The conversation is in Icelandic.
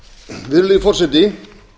virðulegi forseti